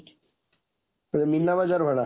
ଏଇ ମୀନାବଜାର ଵାଲା